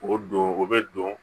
O don o bɛ don